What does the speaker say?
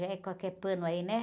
Já é qualquer pano aí, né?